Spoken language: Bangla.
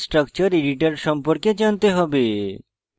gchempaint chemical structure editor সম্পর্কে জানতে হবে